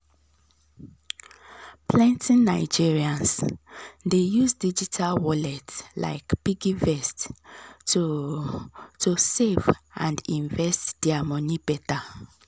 plenty nigerians dey use digital wallet like piggyvest to to save and invest their money better.